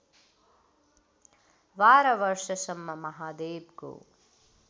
१२ वर्षसम्म महादेवको